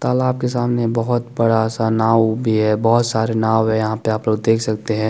तलब के सामने बोहोत बड़ा सा नाव भी है बोहोत सारे नाव है यहाँ पे आप देख सकते है।